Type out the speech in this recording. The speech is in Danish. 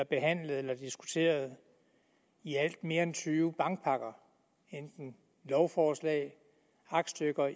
behandlet eller diskuteret mere end tyve bankpakker enten lovforslag aktstykker